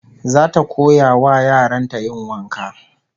Zata koya wa yaran ta yin wanka